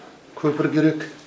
көпір керек